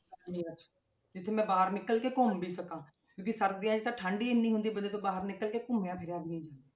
ਗਰਮੀਆਂ 'ਚ ਜਿੱਥੇ ਮੈਂ ਬਾਹਰ ਨਿਕਲ ਕੇ ਘੁੰਮ ਵੀ ਸਕਾਂ ਕਿਉਂਕਿ ਸਰਦੀਆਂ 'ਚ ਤਾਂ ਠੰਢ ਹੀ ਇੰਨੀ ਹੁੰਦੀ ਹੈ ਬੰਦੇ ਤੋਂ ਬਾਹਰ ਨਿਕਲ ਕੇ ਘੁੰਮਿਆ ਫਿਰਿਆ ਵੀ ਨੀ ਜਾਂਦਾ।